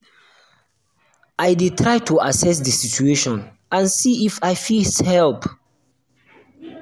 i dey i dey try to assess di situation and see if um i fit help.